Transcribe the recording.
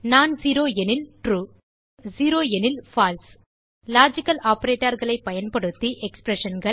known zero எனில் true மற்றும் zero எனில் பால்சே லாஜிக்கல் operatorகளை பயன்படுத்தி Expressionகள்